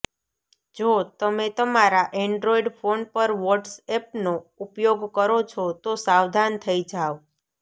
જો તમે તમારા એન્ડ્રોઇડ ફોન પર વોટ્સ એપનો ઉપયોગ કરો છો તો સાવધાન થઇ જાવ